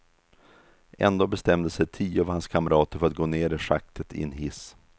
Ändå bestämde sig tio av hans kamrater för att gå ner i schaktet i en hiss.